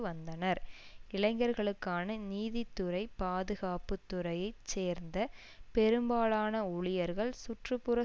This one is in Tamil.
வந்தனர் இளைஞர்களுக்கான நீதித்துறை பாதுகாப்பு துறையை சேர்ந்த பெரும்பாலான ஊழியர்கள் சுற்று புற